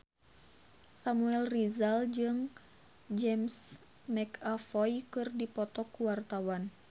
Samuel Rizal jeung James McAvoy keur dipoto ku wartawan